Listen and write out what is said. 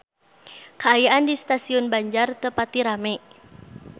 Kaayaan di Stasiun Banjar teu pati rame